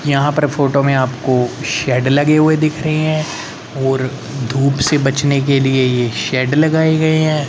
यहां पर फोटो में आपको शेड लगे हुए दिख रही हैं और धूप से बचने के लिए ये शेड लगाए गए हैं।